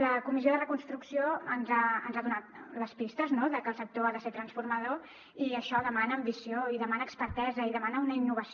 la comissió de reconstrucció ens ha donat les pistes que el sector ha de ser transformador i això demana ambició i demana expertesa i demana una innovació